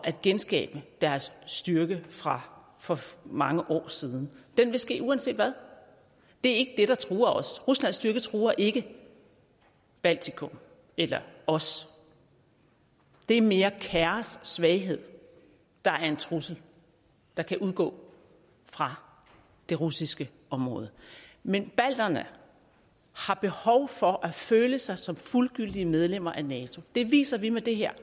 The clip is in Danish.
at genskabe deres styrke fra for mange år siden det vil ske uanset hvad det er der truer os ruslands styrke truer ikke baltikum eller os det er mere kaos og svaghed der er en trussel der kan udgå fra det russiske område men balterne har behov for at føle sig som fuldgyldige medlemmer af nato det viser vi med det her